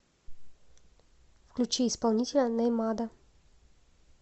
включи исполнителя нэймада